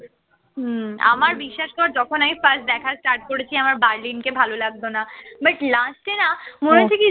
হম আমার বিশ্বাস কর যখন আমি first দেখা start করেছি আমার বার্লিনকে ভালো লাগত না but last এ না মনে হচ্ছে কি